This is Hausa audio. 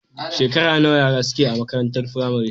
Shekara nawa yara suke yi a makarantar firamare?